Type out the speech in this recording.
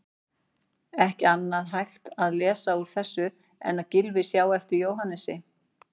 Ekki annað hægt að lesa úr þessu en að Gylfi sjái eftir Jóhannesi.